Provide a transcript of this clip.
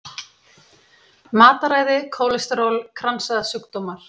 Matarræði, kólesteról, kransæðasjúkdómar.